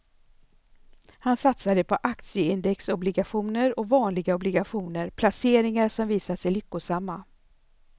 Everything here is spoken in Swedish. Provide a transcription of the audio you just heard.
Han satsade på aktieindexobligationer och vanliga obligationer, placeringar som visat sig lyckosamma.